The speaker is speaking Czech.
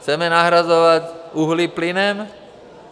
Chceme nahrazovat uhlí plynem?